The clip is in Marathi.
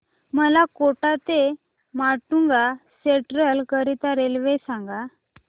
मला कोटा ते माटुंगा सेंट्रल करीता रेल्वे सांगा